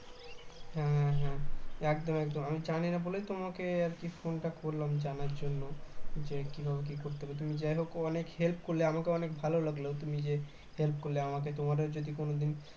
হ্যাঁ হ্যাঁ একদম একদম আমি জানি না বলেই তোমাকে আর কি phone তা করলাম জানার জন্য যে কিভাবে কি করতে হবে তুমি যাই হোক অনেক help করলে আমাকে অনেক ভালো লাগলো তুমি যে help করলে আমাকে তোমারও যদি কোনদিন